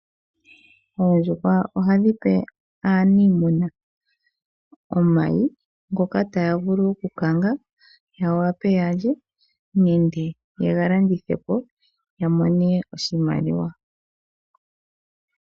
Oondjuhwa ohadhipe aatekuli yadho omayi ngoka haa vulu oku kanga ya wape yalye nande yega landithepo yamone oshimaliwa.